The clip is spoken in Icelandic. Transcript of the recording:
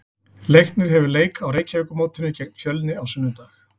Leiknir hefur leik á Reykjavíkurmótinu gegn Fjölni á sunnudag.